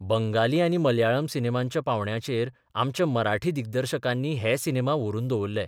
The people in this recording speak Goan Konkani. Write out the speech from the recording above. बंगाली आनी मल्याळम सिनेमांच्या पावंड्याचेर आमच्या मराठी दिग्दर्शकांनी हे सिनेमा व्हरून दवरले.